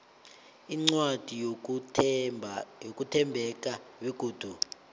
incwadi yokuthembeka begodu